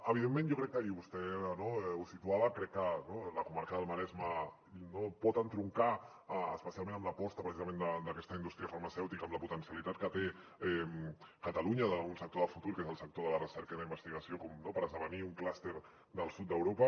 evidentment jo crec que i vostè ho situava la comarca del maresme pot entroncar especialment amb l’aposta precisament d’aquesta indústria farmacèutica amb la potencialitat que té catalunya en un sector de futur que és el sector de la recerca i la investigació per esdevenir un clúster del sud d’europa